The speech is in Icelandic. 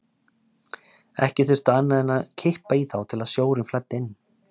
Ekki þurfti annað en kippa í þá til að sjórinn flæddi inn.